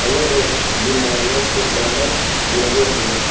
अलग-अलग बीमारियों के बैनर्स लगे हुए हैं।